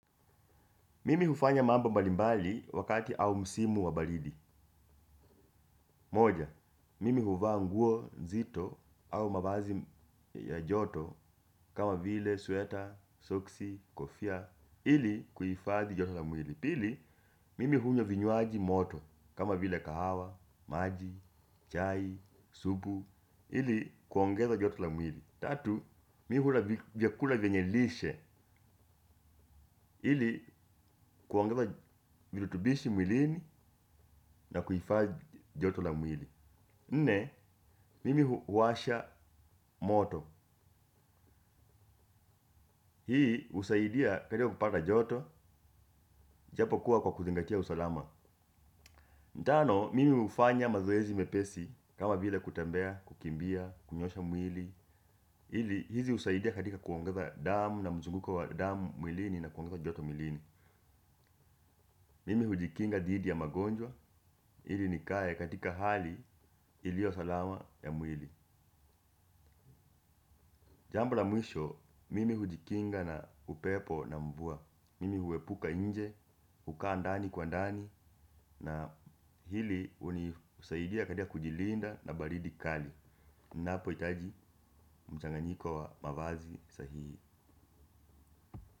Mimi hufanya mambo mbalimbali wakati au msimu wa baridi moja, mimi huvaa nguo nzito au mavazi ya joto kama vile suweta, soksi, kofia ili kuifadhi joto la mwili pili, mimi hunywa vinywaji moto kama vile kahawa, maji, chai, supu ili kuongeza joto la mwili tatu, mimi hula vyakula vyenye lishe ili, kuongeza virutubishi mwilini na kuhifadhi joto la mwili nne, mimi huwasha moto hii husaidia katika kupata joto. Japokuwa kwa kuzingatia usalama tano, mimi hufanya mazoezi mepesi kama vila kutembea, kukimbia, kunyoosha mwili ili, hizi husaidia katika kuongeza damu na mzunguko wa damu mwilini na kuongeza joto mwilini mimi hujikinga dhidhi ya magonjwa ili nikae katika hali iliyo salama ya mwili jambo la mwisho, mimi hujikinga na upepo na mvua mimi huepuka nje, hukaa ndani kwa ndani na hili hunisaidia katika kujilinda na baridi kali. Napohitaji mchanganyiko wa mavazi sahihi.